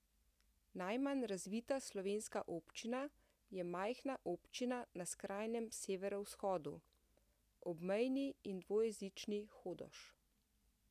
Najmanj razvita slovenska občina je majhna občina na skrajnem severovzhodu, obmejni in dvojezični Hodoš.